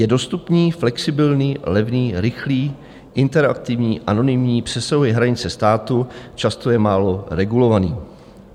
Je dostupný, flexibilní, levný, rychlý, interaktivní, anonymní, přesahuje hranice států, často je málo regulovaný.